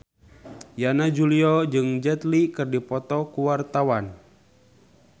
Yana Julio jeung Jet Li keur dipoto ku wartawan